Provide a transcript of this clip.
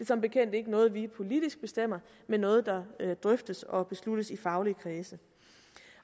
som bekendt ikke noget vi politisk bestemmer men noget der drøftes og besluttes i faglige kredse